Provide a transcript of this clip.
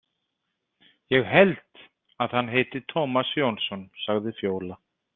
Ég held að hann heiti Tómas Jónsson, sagði Fjóla.